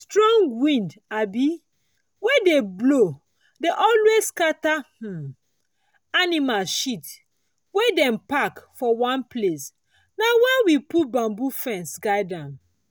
strong wind um wey dey blow dey always scatter um animal shit wey dem pack for one place—na why we dey put bamboo fence guide am.